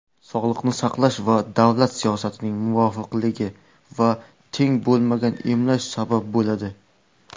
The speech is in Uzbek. sog‘liqni saqlash va davlat siyosatining nomuvofiqligi va "teng bo‘lmagan emlash" sabab bo‘ladi.